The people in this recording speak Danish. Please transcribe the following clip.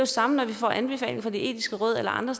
samme når vi får anbefalinger fra det etiske råd eller andre